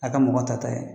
A ka mɔgɔ ta ta ye